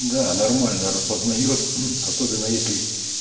да нормально распознает особенно если